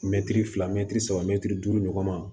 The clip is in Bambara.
Mɛtiri fila mɛtiri saba mɛtiri duuru ɲɔgɔn ma